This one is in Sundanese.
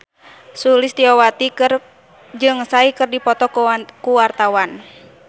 Sulistyowati jeung Psy keur dipoto ku wartawan